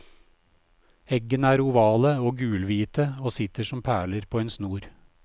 Eggene er ovale og gulhvite og sitter som perler på en snor.